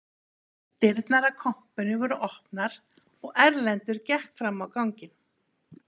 Dyrnar að kompunni voru opnar og Erlendur gekk fram á ganginn